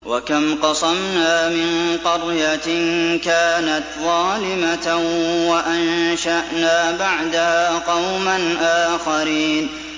وَكَمْ قَصَمْنَا مِن قَرْيَةٍ كَانَتْ ظَالِمَةً وَأَنشَأْنَا بَعْدَهَا قَوْمًا آخَرِينَ